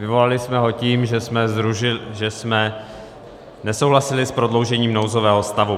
Vyvolali jsme ho tím, že jsme nesouhlasili s prodloužením nouzového stavu.